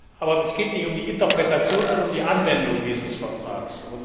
Aber es geht nicht um die Interpretation, sondern um die Anwendung dieses Vertrags.